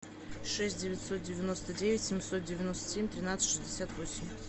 шесть девятьсот девяносто девять семьсот девяносто семь тринадцать шестьдесят восемь